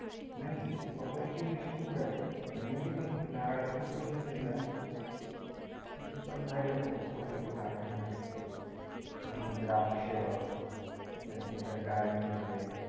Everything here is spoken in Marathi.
नही पपई ची उंची खुप जाते, पण एवढी पण नारळाइतकी उंच नाही जात, पण भारी असत पपईच झाड पण भारी असतत द्रक्श त्याच्यानंतर डाळींब झाले,